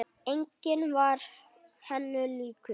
Enginn var henni líkur.